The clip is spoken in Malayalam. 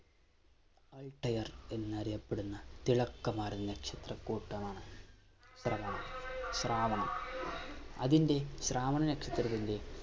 Altair എന്നറിയപ്പെടുന്ന തിളക്കമാർന്ന നക്ഷത്ര കൂട്ടമാണ് ശ്രവണ ശ്രാവണ അതിന്റെ ശ്രാവണ നക്ഷത്രത്തിന്റെ